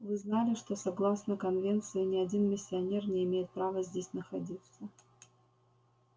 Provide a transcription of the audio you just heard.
вы знали что согласно конвенции ни один миссионер не имеет права здесь находиться